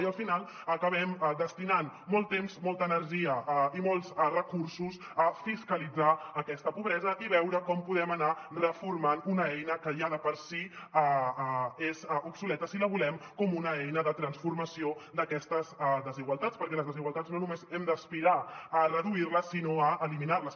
i al final acabem destinant molt temps molta energia i molts recursos a fiscalitzar aquesta pobresa i veure com podem anar reformant una eina que ja de per si és obsoleta si la volem com una eina de transformació d’aquestes desigualtats perquè les desigualtats no només hem d’aspirar a reduir les sinó a eliminar les